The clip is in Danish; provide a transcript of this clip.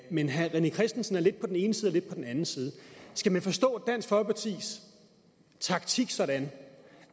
men herre rené christensen er lidt på den ene side og lidt på den anden side skal man forstå dansk folkepartis taktik sådan